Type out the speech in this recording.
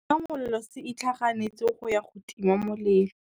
Setima molelô se itlhaganêtse go ya go tima molelô.